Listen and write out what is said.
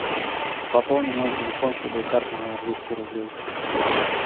пополни мой телефон с любой карты на двести рублей